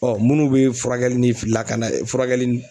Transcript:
munnu bɛ furakɛli ni lakana furakɛli ni